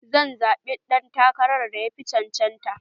Zan zaɓi ɗan takarar da yafi cancanta